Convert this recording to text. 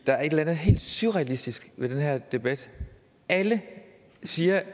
der er et eller andet helt surrealistisk ved den her debat alle siger